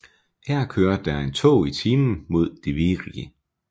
Her kører der en tog i timen mod Divriği